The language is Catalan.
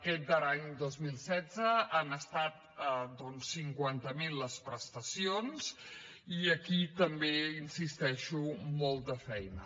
aquest darrer any dos mil setze han estat doncs cinquanta mil les prestacions i aquí també hi insisteixo molta feina